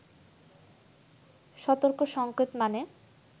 সতর্ক সঙ্কেত মানে